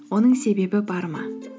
оның себебі бар ма